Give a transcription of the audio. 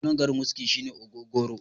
sunan garin wuski shine ogogoro